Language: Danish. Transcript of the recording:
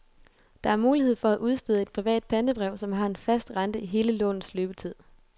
Der er mulighed for at udstede et privat pantebrev, som har en fast rente i hele lånets løbetid.